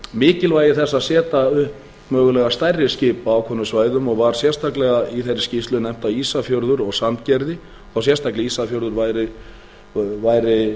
þess að setja upp mögulega stærri skip á ákveðnum svæðum og var sérstaklega í þeirri skýrslu nefnt að ísafjörður og sandgerði og sérstaklega ísafjörður væri